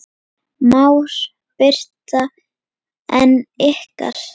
María Birta en ykkar?